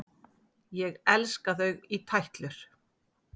Ég elska þau í tætlur!